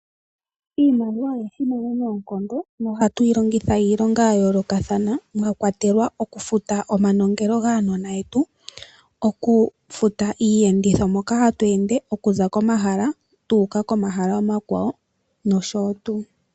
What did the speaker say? Iimaliwa oya simana noonkondo nohatu yi longitha iilonga ya yoolokathana mwa kwatela okufuta omanongelo gaanona yetu. Okufuta iiyenditho moka hatu ende okuza komahala tu uka komahala omakwawo nosho tuu.